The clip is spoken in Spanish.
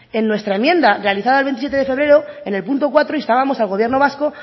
en nuestra enmienda realizada el veintisiete de febrero en el punto cuatro instábamos al gobierno vasco